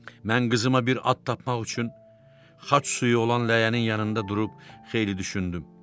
Mən qızıma bir ad tapmaq üçün xaç suyu olan ləyənin yanında durub xeyli düşündüm.